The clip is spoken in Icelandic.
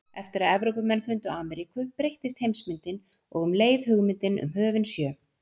Eftir að Evrópumenn fundu Ameríku breyttist heimsmyndin og um leið hugmyndin um höfin sjö.